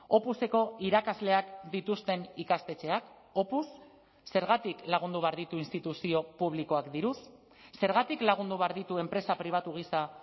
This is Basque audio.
opuseko irakasleak dituzten ikastetxeak opus zergatik lagundu behar ditu instituzio publikoak diruz zergatik lagundu behar ditu enpresa pribatu gisa